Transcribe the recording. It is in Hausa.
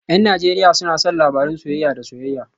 Yan Najeriya suna son labarun soyayya da soyayya